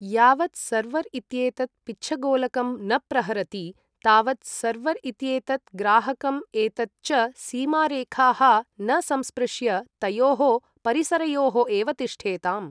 यावत् सर्वर् इत्येतत् पिच्छगोलकं न प्रहरति तावत् सर्वर् इत्येतत् ग्राहकम् एतत् च सीमारेखाः न संस्पृश्य तयोः परिसरयोः एव तिष्ठेताम्।